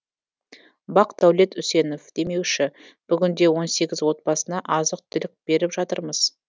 бақдәулет үсенов демеуші бүгінде он сегіз отбасына азық түлік беріп жатырмыз